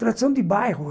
Tradição de bairro.